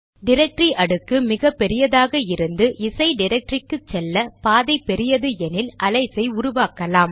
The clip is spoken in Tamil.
டிரக்டரி அடுக்கு மிகபெரியதாக இருந்து இசை டிரக்டரிக்கு செல்ல பாதை பெரியது எனில் அலையஸ் ஐ உருவாக்கலாம்